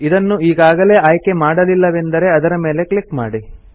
ಅದನ್ನು ಈಗಾಗಲೇ ಆಯ್ಕೆ ಮಾಡಲಿಲ್ಲವೆಂದರೆ ಅದರ ಮೇಲೆ ಕ್ಲಿಕ್ ಮಾಡಿ